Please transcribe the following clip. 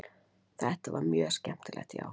Þetta var mjög skemmtilegt já.